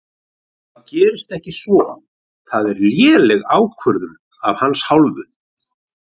Það gerðist ekki svo það er léleg ákvörðun af hans hálfu.